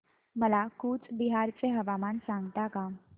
मला कूचबिहार चे हवामान सांगता का